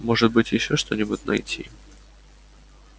может быть ещё что-нибудь найти